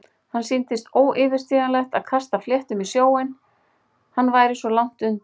Það sýndist óyfirstíganlegt að kasta fléttum í sjóinn- hann væri svo langt undan.